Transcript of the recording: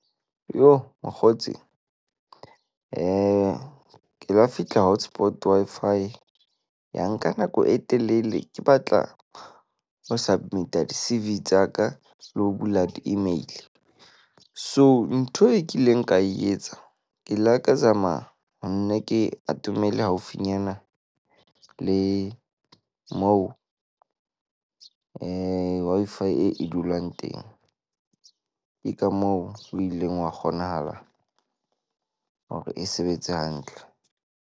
Yoh, mokgotsi. ke la fihla hotspot Wi-Fi ya nka nako e telele. Ke batla ho submit-a di-CV tsa ka le ho bula di-email. So ntho e kileng ka e etsa. Ke ile ka zama ho nna ke atomele haufinyana le mo Wi-Fi e e dulang teng. Ke ka moo o ileng wa kgonahala hore e sebetse hantle.